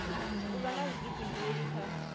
u vha na vhuḓifhinduleli kha